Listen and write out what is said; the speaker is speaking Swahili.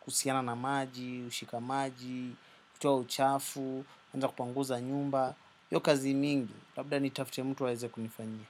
kusiana na maji, ushika maji, kutoa uchafu, anza kupanguza nyumba. Yo kazi mingi, labda ni tafte mtu awaeze kunifanyia.